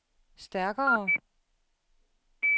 stærkere